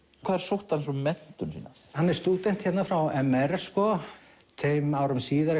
hvar sótti hann svo menntun sína hann er stúdent hérna frá m r tveim árum síðar